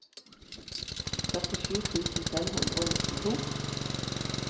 førtisju tusen fem hundre og nittito